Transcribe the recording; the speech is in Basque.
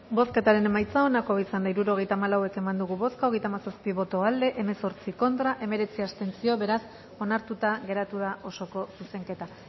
bozketaren emaitza onako izan da hirurogeita hamalau eman dugu bozka hogeita hamazazpi boto aldekoa hemezortzi contra hemeretzi abstentzio beraz onartuta geratu da osoko zuzenketa